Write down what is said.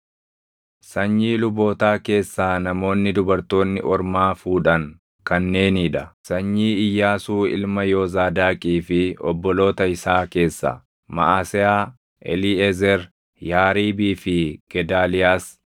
Sanyii lubootaa keessaa namoonni dubartoonni ormaa fuudhan kanneenii dha: Sanyii Iyyaasuu ilma Yoozaadaaqii fi obboloota isaa keessaa: Maʼaseyaa, Eliiʼezer, Yaariibii fi Gedaaliyaas.